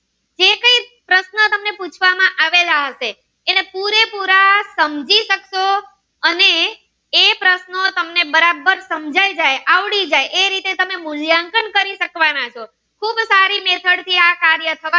સમજાવેલા હશે તમે પૂરેપૂરા સમજી શકશો અને એ પ્રશ્નો તમને બરોબર સમજાય જાય અને આવડી જાય એ રીતે તમે સ્વ મૂલ્યાંકન કરી શકવાના છો ખૂબ સારી method થી આ કાર્ય થવાનું છે